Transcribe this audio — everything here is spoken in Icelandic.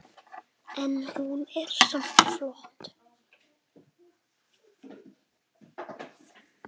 En hún er samt flott.